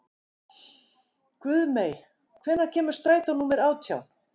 Guðmey, hvenær kemur strætó númer átján?